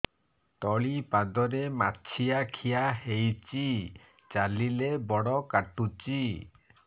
ତଳିପାଦରେ ମାଛିଆ ଖିଆ ହେଇଚି ଚାଲିଲେ ବଡ଼ କାଟୁଚି